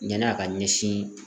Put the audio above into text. Yan'a ka ɲɛsin